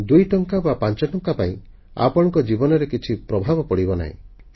ଦୁଇଟଙ୍କା ବା ପାଞ୍ଚଟଙ୍କା ପାଇଁ ଆପଣଙ୍କ ଜୀବନରେ କିଛି ପ୍ରଭାବ ପଡ଼ିବ ନାହିଁ